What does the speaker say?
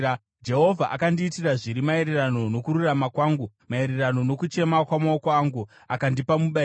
“Jehovha akandiitira zviri maererano nokururama kwangu; maererano nokuchena kwamaoko angu, akandipa mubayiro.